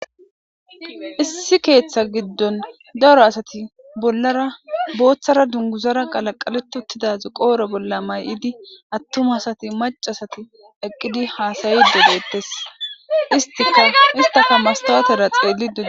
issi keeththa giddon daro asati bollara booththara dunguzara qalaqaletuttidazi qooro bolla may7idi attum asati macasati eqqidi haasayi dogeettes istika istafa mastawatera xeellidoe